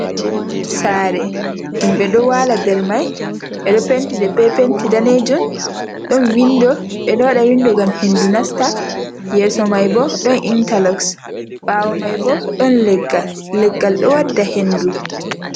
Sare dum ɓe ɗo wala ɗer mai, ɓe ɗo penti ɗe be penti danejun, ɗon windo, ɓe ɗo wada windo gam hendu nasta, yeso mai bo don inteloxs, ɓawo mai bo don legal, leggal do wadda hendu.